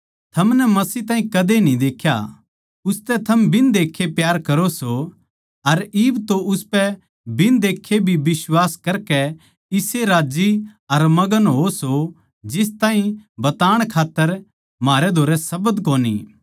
थमनै मसीह ताहीं कदे न्ही देख्या उसतै थम बिन देक्खे प्यार करो सो अर इब तो उसपै बिन देक्खे भी बिश्वास करकै इसे राज्जी अर मग्न होवो सो जिस ताहीं बताण खात्तर म्हारे धोरै शब्द कोनी